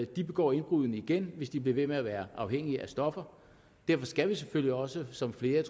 de begår indbruddene igen hvis de bliver ved med at være afhængige af stoffer derfor skal vi selvfølgelig også som flere